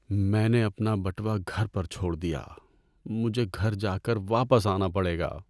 میں نے اپنا بٹوا گھر پر چھوڑ دیا۔ مجھے گھر جا کر واپس آنا پڑے گا۔